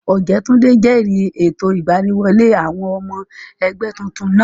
Ọ̀jẹ́túndé jẹ̀rìí ètò ìgbaniwọlé àwọn ọmọ ẹgbẹ́ tuntun náà